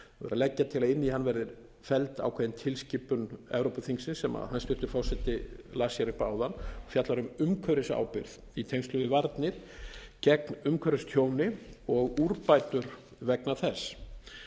leggja til að inn í hann verði felld ákveðin tilskipun evrópuþingsins sem hæstvirtur forseti las hér upp áðan og fjallar um umhverfisábyrgð í tengslum við varnir gegn umhverfistjóni og úrbætur vegna þess